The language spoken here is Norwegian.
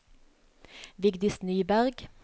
Vigdis Nyberg